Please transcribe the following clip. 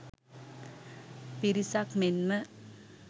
පිරිසක් මෙන්ම